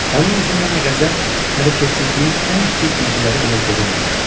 Onun üzündə nə qəzəb, nə də kefsizliyin ən kiçik cizgiləri belə görünmürdü.